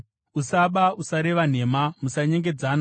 “ ‘Usaba. “ ‘Usareva nhema. “ ‘Musanyengedzana.